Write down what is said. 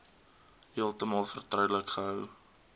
heeltemal vertroulik gehou